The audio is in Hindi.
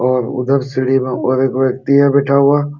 और उधर सीढ़ी में और एक व्यक्ति है बैठा हुआ।